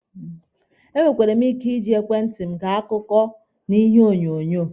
E nwekwere mụ ike iji ekwentị mụ ege akụkọ na ihe onyonyo.